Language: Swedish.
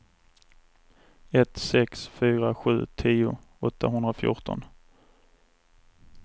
ett sex fyra sju tio åttahundrafjorton